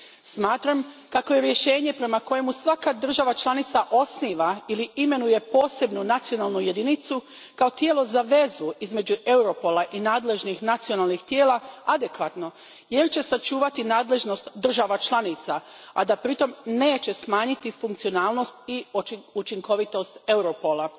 Smatram kako je rješenje prema kojem svaka država članica osniva ili imenuje posebnu nacionalnu jedinicu kao tijelo za vezu između Europola i nadležnih nacionalnih tijela adekvatno jer će sačuvati nadležnosti država članica, a da pritom neće smanjiti funkcionalnost i učinkovitost Europola.